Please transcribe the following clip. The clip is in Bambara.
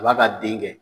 A b'a ka den kɛ